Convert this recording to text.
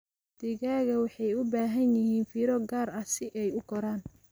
Digaagga waxay u baahan yihiin fiiro gaar ah si ay u koraan.